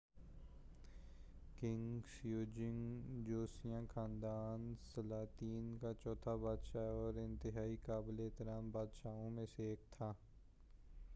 king Sejong جوسیوں خاندان سلاطین کا چوتھا بادشاہ تھا اور انتہائی قابل احترام بادشاہوں میں سے ایک تھا